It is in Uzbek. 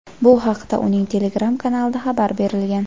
Bu haqda uning Telegram kanalida xabar berilgan.